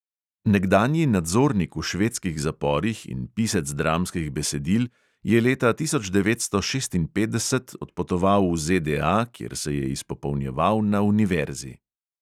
Nekdanji nadzornik v švedskih zaporih in pisec dramskih besedil je leta tisoč devetsto šestinpetdeset odpotoval v ZDA, kjer se je izpopolnjeval na univerzi.